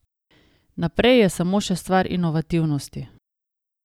Naprej je samo še stvar inovativnosti.